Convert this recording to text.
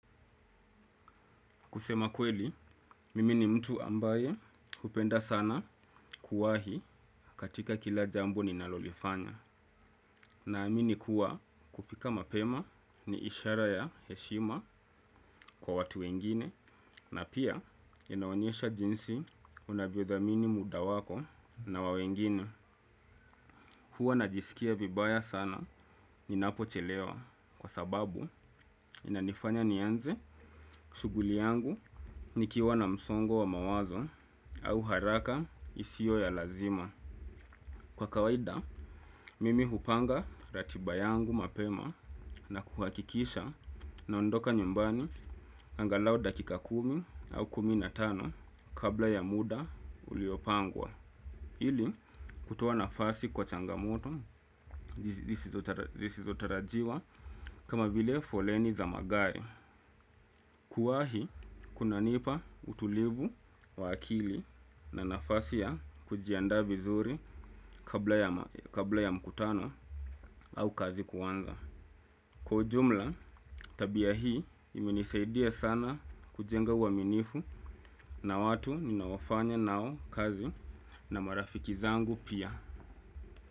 Kusema kweli, mimi ni mtu ambaye hupenda sana kuwahi katika kila jambo ninalolifanya. Na amini kuwa kupika mapema ni ishara ya heshima kwa watu wengine, na pia inanyesha jinsi unavyothamini muda wako na wa wengine. Huwa najisikia vibaya sana ninapochelewa kwa sababu inanifanya nianze shughuli yangu nikiwa na msongo wa mawazo au haraka isiyo ya lazima. Kwa kawaida, mimi hupanga ratiba yangu mapema na kuhakikisha na ondoka nyumbani angalau dakika kumi au kuminatano kabla ya muda uliopangwa. Hili kutoa nafasi kwa changamoto zisizotarajiwa kama vile foleni za magari. Kuwahi kunanipa utulivu wa akili na nafasi ya kujiandaa vizuri kabla ya mkutano au kazi kuanza. Kwa ujumla tabia hii imenisaidia sana kujenga uaminifu na watu ninao fanya nao kazi na marafiki zangu pia.